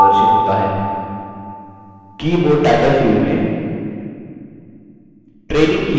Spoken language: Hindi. keyboard टाइटल field में training keyboard प्रविष्ट करें